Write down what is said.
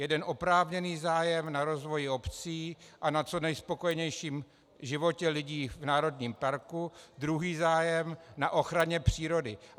Jeden oprávněný zájem na rozvoji obcí a na co nejspokojenějším životě lidí v národním parku, druhý zájem na ochraně přírody.